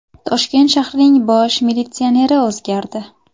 Toshkent shahrining bosh militsioneri o‘zgardi.